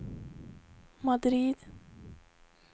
Madrid